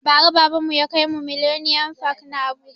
Ba ra baban mu ya kaimu millennium park na habuja